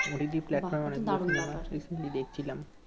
OTT প্লাটফর্মে অনেকগুলি cinema দেখছিলাম